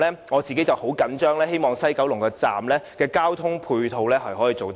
我對此十分緊張，希望西九龍站的交通配套可以做得更好。